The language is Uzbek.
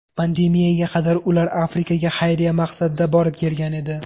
Pandemiyaga qadar ular Afrikaga xayriya maqsadida borib kelgan edi.